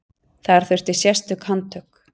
Þar þurfti sérstök handtök.